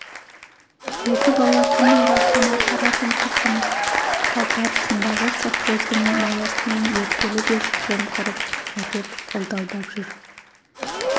екі бала күн ара сонау қара тұмсықтың қалтарысындағы совхоздың маясынан ертелі-кеш жымқырып әкеп ылдалдап жүр